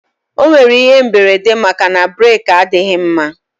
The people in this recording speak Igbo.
O nwere ihe mberede maka na breeki adịghị mma